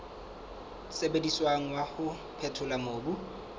sebediswang wa ho phethola mobu